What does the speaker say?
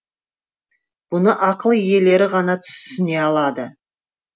бұны ақыл иелері ғана түсіне алады